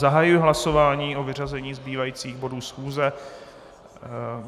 Zahajuji hlasování o vyřazení zbývajících bodů schůze.